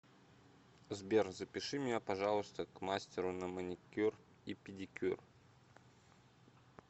сбер запиши меня пожалуйста к мастеру на маникюр и педикюр